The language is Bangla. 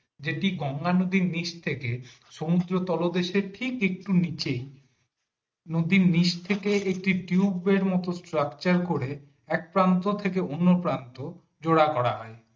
যেটি গঙ্গা নদীর নিচ থেকে সমুদ্র তলদেশে ঠিক একটু নিচেই নদীর নিচ থেকে একটি টিউবের মতো structure করে এক প্রান্ত থেকে অন্য প্রান্ত জোড়া করা হয়।